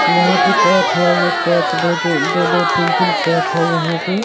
यहाँ पे कोच है ये कोच दो-दो-दो तीन-तीन कोच है यहाँ पे --